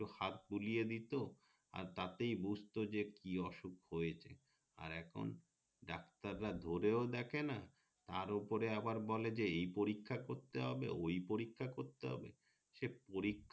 একটু হাত বুলিয়ে দিতো আর তাতেই বুঝতো যে কি অসুক হয়েছে আর এখন ডাক্তার রা ধরেও দেখে না তার উপরে আবার বলে যে এই পরীক্ষা করতে হবে ওই পরীক্ষা করতে হবে সে পরীক্ষা